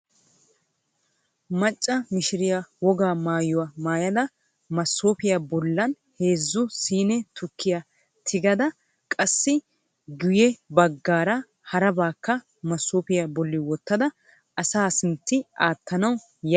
Macca mishiriyaa wogaa maayuwaa maayada maasoofiyaa bollaan heezzu siine tukkiyaa tiggada qassi giyye baggara harabakka masoofiyaa bolli wottada asaa sintti wottanawu yaayda de'awus.